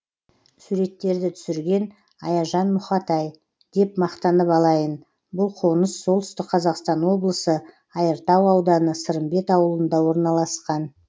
суреттерді түсірген аяжан мұхатай деп мақтанып алайын бұл қоныс солтүстік қазақстан облысы айыртау ауданы сырымбет ауылында орналасқан